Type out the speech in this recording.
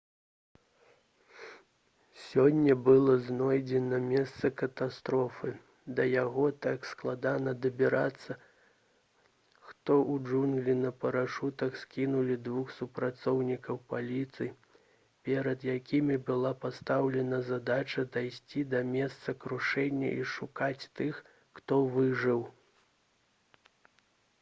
сёння было знойдзена месца катастрофы да яго так складана дабірацца што ў джунглі на парашутах скінулі двух супрацоўнікаў паліцыі перад якімі была пастаўлена задача дайсці да месца крушэння і шукаць тых хто выжыў